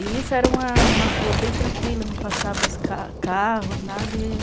E isso era uma rua bem tranquila, não passava carros, nada.